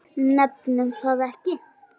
Nefnum það ekki.